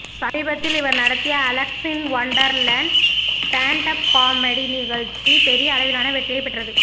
சமீபத்தில் இவர் நடத்திய அலெக்ஸ் இன் ஒன்டர்லேண்ட் ஸ்டேன்ட் அப் காமெடி நிகழ்ச்சி பெரிய அளவிளான வெற்றியை பெற்றது